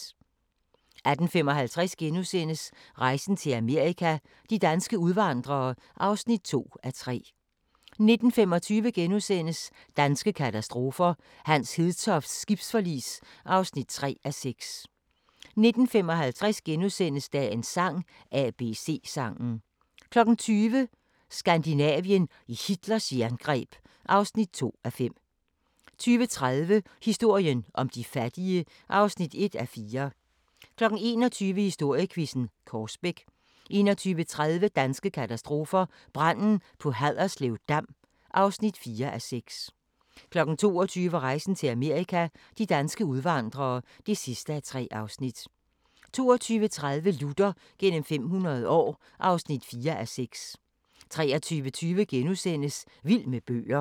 18:55: Rejsen til Amerika – de danske udvandrere (2:3)* 19:25: Danske katastrofer – Hans Hedtofts skibsforlis (3:6)* 19:55: Dagens sang: ABC-sangen * 20:00: Skandinavien i Hitlers jerngreb (2:5) 20:30: Historien om de fattige (1:4) 21:00: Historiequizzen: Korsbæk 21:30: Danske katastrofer – Branden på Haderslev Dam (4:6) 22:00: Rejsen til Amerika – de danske udvandrere (3:3) 22:30: Luther gennem 500 år (4:6) 23:20: Vild med bøger *